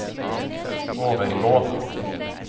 overgå